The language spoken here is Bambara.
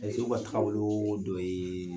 Mɛlɛkɛw ka takaboloo dɔ yee